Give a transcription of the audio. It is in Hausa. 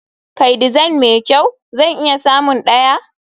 Kai design mai kyau? zan iya samun ɗaya.